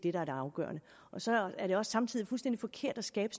er det afgørende så er det også samtidig fuldstændig forkert at skabe